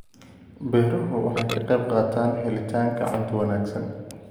Beeruhu waxay ka qaybqaataan helitaanka cunto wanaagsan.